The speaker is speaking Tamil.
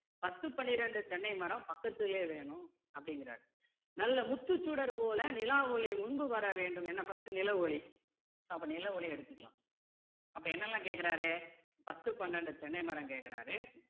பத்து பன்னிரண்டு தென்னை மரம் பக்கத்துலே வேணும் அப்படிங்கிறாரு நல்ல முத்துச் சுடர்போலே நிலாவொளி முன்பு வர வேண்டும் என்ன first டு நிலவு ஒளி அப்போ நிலவு ஒளி எடுத்துக்கலாம் அப்போ என்னெல்லாம் கேட்குறாரு பத்து பன்னிரண்டு தென்னை மரம் கேக்குறாரு